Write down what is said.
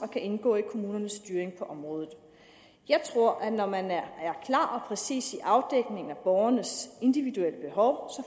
kan indgå i kommunernes styring på området jeg tror at når man er klar og præcis i afdækning af borgernes individuelle behov